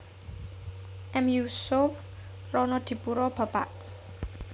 M Yusuf Ronodipuro Bapak